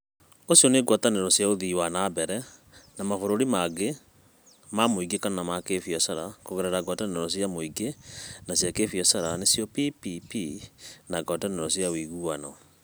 Ũcio nĩ ngwatanĩro cia ũthii wa na mbere, na mabũrũri mangĩ ma mũingĩ kana ma kĩbiacara kũgerera ngwatanĩro cia mũingĩ na cia kĩbiacara (PPP) na ngwatanĩro cia ũiguano.